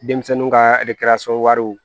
Denmisɛnninw ka wariw